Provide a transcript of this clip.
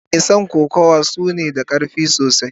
Mason kokawa suna da karfi sosai.